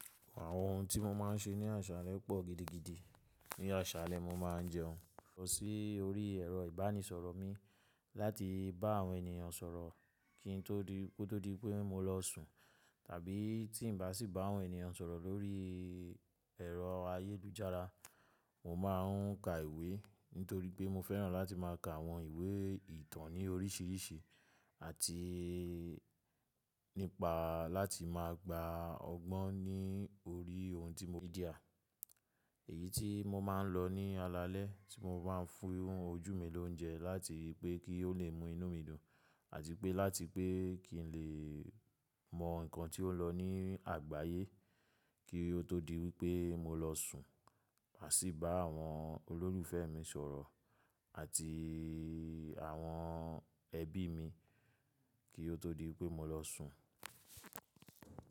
Àwọn ohun tí mo máa ń ṣe ní ọ̀ṣàlẹ̀ pọ̀ gidigidi. Ní aṣàlẹ̀ mo máa ń jẹun, lọ sí orí ẹ̀rọ ìbánisọ̀rọ̀ mi láti bá àwọn ènìyàn sọ̀rọ̀ kí n tó di pé mo lọ sùn. Tàbí tí ǹ bá sì bá àwọn ènìyàn sọ̀rọ̀ lórí ẹ̀rọ ayélujára, mo máà ń ka ìwé. Nítorí pé mo fẹ́ràn láti má a ka àwọn ìwé ìtàn ní oríṣìíríṣìí àti nípa láti má a gba ọgbọ́n ní orí ohun tí mo ri n media. Èyí tí mo máa ń lọ ní alalẹ́ tí mo bá fún ojú mi lóúnjẹ láti pé kí ó lè mu inú mi dùn àti pé láti pé kí n lè mọ nǹkan tí ó lọ ní àgbáyé kí ó tó di wípé mo lọ sùn. À sì bá àwọn olólùfẹ́ mi sọ̀rọ̀ àti àwọn ẹbí mi kí ó tó di wípé mo lọ sùn.